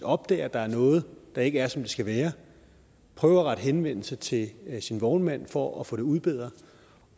opdager at der er noget der ikke er som det skal være prøver at rette henvendelse til sin vognmand for at få det udbedret